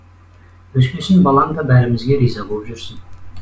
өскесін балаң да бәрімізге риза боп жүрсін